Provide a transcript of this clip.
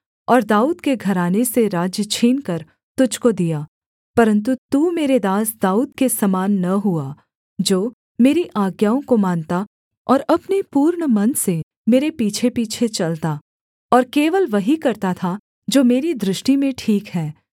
और दाऊद के घराने से राज्य छीनकर तुझको दिया परन्तु तू मेरे दास दाऊद के समान न हुआ जो मेरी आज्ञाओं को मानता और अपने पूर्ण मन से मेरे पीछेपीछे चलता और केवल वही करता था जो मेरी दृष्टि में ठीक है